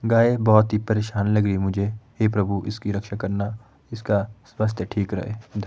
गाय बहुत ही परेशान लगी रही मुझे हे प्रभु इसकी रक्षा करना इसका स्वास्थ्य ठीक रहे ध--